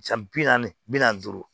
Jan bi naani bi naani duuru